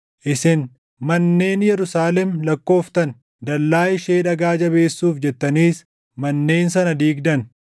Isin manneen Yerusaalem lakkooftan; dallaa ishee dhagaa jabeessuuf jettaniis manneen sana diigdan.